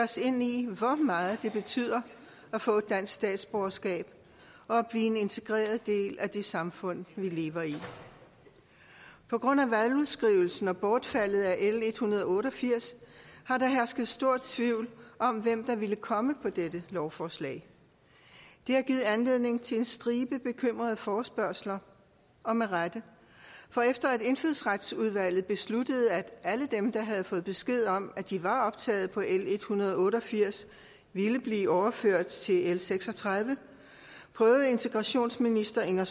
os ind i hvor meget det betyder at få et dansk statsborgerskab og blive en integreret del af det samfund vi lever i på grund af valgudskrivelsen og bortfaldet af l en hundrede og otte og firs har der hersket stor tvivl om hvem der ville komme på dette lovforslag det har givet anledning til en stribe bekymrede forespørgsler og med rette for efter at indfødsretsudvalget besluttede at alle dem der havde fået besked om at de var optaget på l en hundrede og otte og firs ville blive overført til l seks og tredive prøvede integrationsministeren at